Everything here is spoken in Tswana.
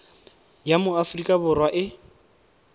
ya mo aforika borwa e